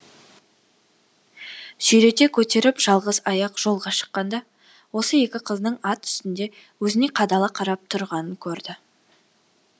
сүйрете көтеріп жалғыз аяқ жолға шыққанда осы екі қыздың ат үстінде өзіне қадала қарап тұрғанын көрді